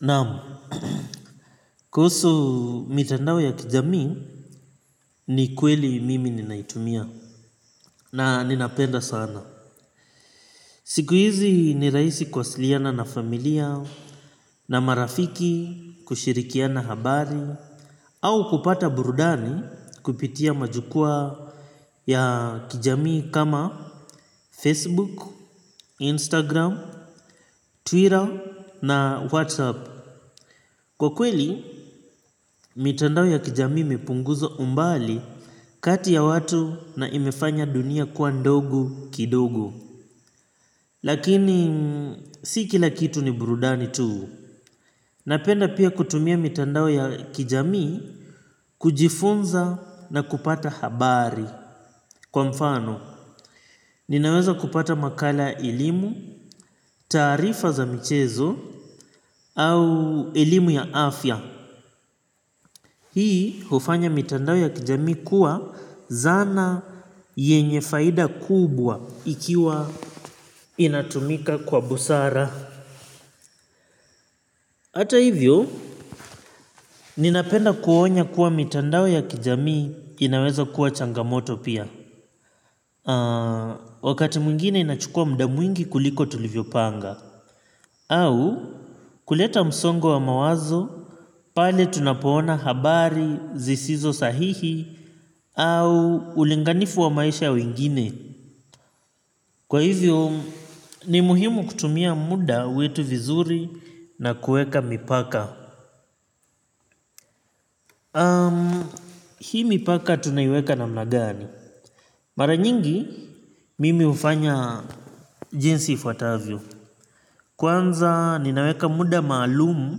Naam, kuhusu mitandao ya kijamii ni kweli mimi ninaitumia na ninapenda sana. Siku hizi ni rahisi kuwasiliana na familia na marafiki kushirikiana habari au kupata burudani kupitia majukwaa ya kijamii kama Facebook, Instagram, Twitter na Whatsapp. Kwa kweli, mitandao ya kijamii imepunguzo umbali kati ya watu na imefanya dunia kwa ndogo kidogo. Lakini, si kila kitu ni burudani tu. Napenda pia kutumia mitandao ya kijami kujifunza na kupata habari. Kwa mfano, ninaweza kupata makala ya elimu, taarifa za michezo au elimu ya afya. Hii hufanya mitandao ya kijamii kuwa zana yenye faida kubwa ikiwa inatumika kwa busara. Hata hivyo, ninapenda kuonya kuwa mitandao ya kijamii inaweza kuwa changamoto pia. Wakati mwingine inachukua muda mwingi kuliko tulivyopanga. Au kuleta msongo wa mawazo, pale tunapoona habari, zisizo sahihi, au ulinganifu wa maisha ya wengine. Kwa hivyo, ni muhimu kutumia muda wetu vizuri na kuweka mipaka. hii mipaka tunaiweka na namna gani. Mara nyingi, mimi hufanya jinsi ifuatavyo. Kwanza, ninaweka muda maalumu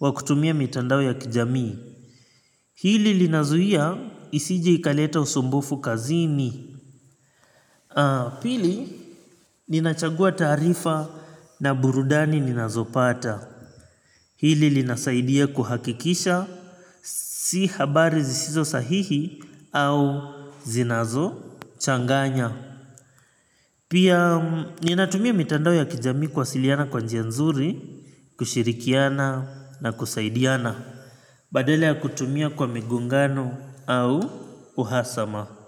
wa kutumia mitandao ya kijamii. Hili linazuia isije ikaleta usumbufu kazini. Pili ninachagua taarifa na burudani ninazopata. Hili linasaidia kuhakikisha si habari zisizo sahihi au zinazo changanya. Pia ninatumia mitandao ya kijamii kuwasiliana kwa njia nzuri, kushirikiana na kusaidiana. Badala ya kutumia kwa migongano au uhasama.